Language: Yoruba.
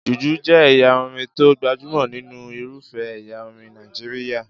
Jùjú jẹ́ ẹ̀yà orin tó gbajúmọ̀ nínú irufẹ́ ẹ̀yà orin Nàìjíríyà